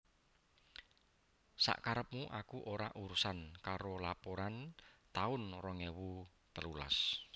Sak karepmu aku ora urusan karo laporan taun rong ewu telulas